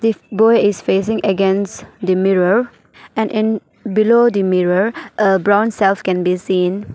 This boy is facing against the mirror and in below the mirror a brown self can be seen.